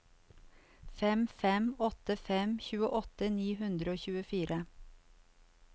fem fem åtte fem tjueåtte ni hundre og tjuefire